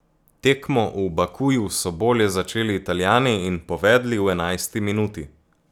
Tekmo v Bakuju so bolje začeli Italijani in povedli v enajsti minuti.